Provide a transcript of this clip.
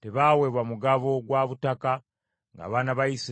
tebaaweebwa mugabo gwa butaka ng’abaana ba Isirayiri bagabana.